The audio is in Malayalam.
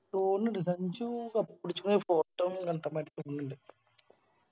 തൊന്നിണ്ട് സഞ്ചു Cup പിടിച്ച Photo കാണ്ടമാരി തൊന്നിണ്ട്